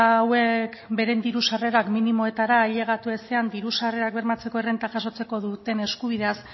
hauek beren diru sarrerak minimoetara ailegatu ezean diru sarrerak bermatzeko errenta jasotzeko duten eskubideaz